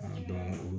A dɔn